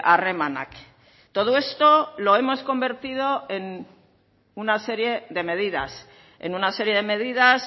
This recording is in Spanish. harremanak todo esto lo hemos convertido en una serie de medidas en una serie de medidas